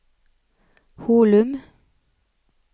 Holum